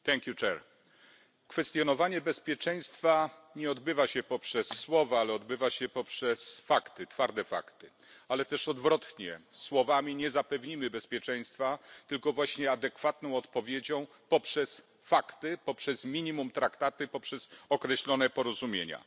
Panie Przewodniczący! Kwestionowanie bezpieczeństwa nie odbywa się poprzez słowa, ale odbywa się poprzez fakty, twarde fakty. Ale też odwrotnie. Słowami nie zapewnimy bezpieczeństwa, tylko właśnie adekwatną odpowiedzią poprzez fakty, poprzez minimum traktaty, poprzez określone porozumienia.